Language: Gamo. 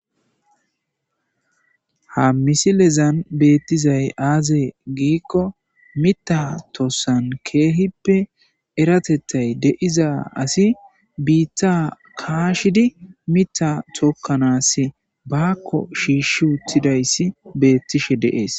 Ha misilezan beettizay aazee giikko mita tossan keehippe eratettay deiza asi biitta kaashidi mita tokkanas bakko shiishshi uttidayssi bettishe de7es.